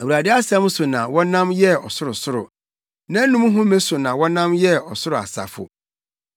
Awurade asɛm so na wɔnam yɛɛ ɔsorosoro, nʼanom home so na wɔnam yɛɛ ɔsoro asafo.